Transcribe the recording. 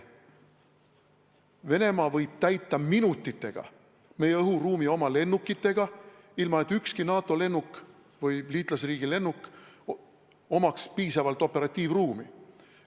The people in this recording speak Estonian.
Venemaa võib minutitega meie õhuruumi oma lennukitega täita, ilma et ühelgi NATO või liitlasriigi lennukil oleks piisavalt operatiivruumi.